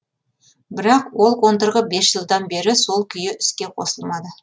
бірақ ол қондырғы бес жылдан бері сол күйі іске қосылмады